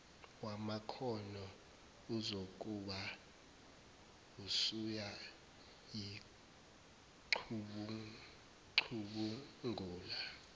wamakhono uzokube usuyayicubungula